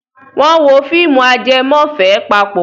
Wọ́n wo fíìmù ajẹmọ́fẹ̀ẹ́ papọ̀?